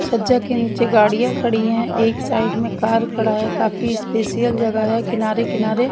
छज्जा के नीचे गाड़ियां खड़ी है एक साइड में कार खड़ा है काफी स्पेशियल जगह है किनारे किनारे--